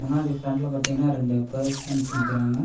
மாடி ஃபிரண்ட்ல பாத்தீங்கன்னா ரெண்டு பர்சன்ஸ் நிக்கிறாங்க.